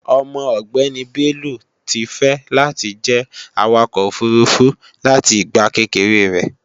Ọmọ ọgbéni Bello ti fẹ́ láti jẹ́ Awakọ̀ òfurufú láti ìgbà kékeré rẹ̀